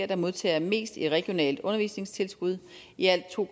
der modtager mest i regionalt undervisningstilskud i alt to